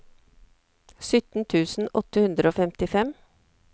sytten tusen åtte hundre og femtifem